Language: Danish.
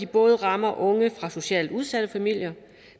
både rammer unge fra socialt udsatte familier